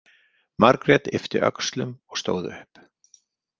Margrét yppti öxlum og stóð upp.